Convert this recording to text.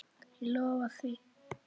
Ég lofa því.